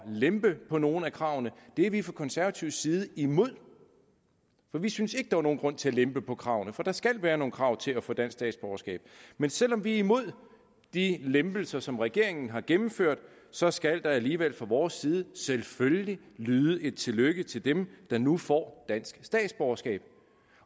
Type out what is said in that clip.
lempe på nogle af kravene det er vi fra konservatives side imod for vi synes ikke der er nogen grund til at lempe på kravene for der skal være nogle krav til at få dansk statsborgerskab men selv om vi er imod de lempelser som regeringen har gennemført så skal der alligevel fra vores side selvfølgelig lyde et tillykke til dem der nu får dansk statsborgerskab